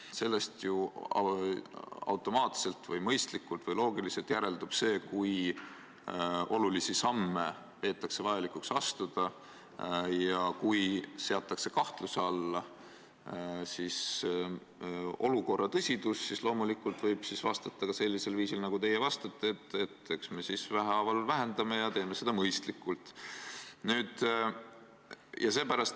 Sellest ju automaatselt või loogiliselt järeldub see, kui olulisi samme peetakse vajalikuks astuda, ja kui seatakse kahtluse alla olukorra tõsidus, siis loomulikult võib vastata ka sellisel viisil nagu teie, et eks me siis vähehaaval vähendame ja teeme seda mõistlikult.